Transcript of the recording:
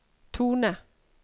tone